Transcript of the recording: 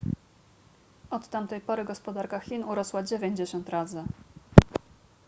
od tamtej pory gospodarka chin urosła 90 razy